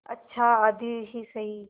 अच्छा आधी ही सही